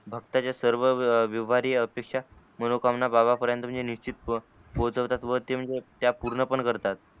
भक्ताच्या सर्व व्यवारी अपेक्षा मनोकामना बाबांन पर्यन्त नीचित पोचवतात व ते म्हणजे त्या पूर्ण पण करतात.